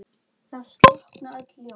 Það slokkna öll ljós.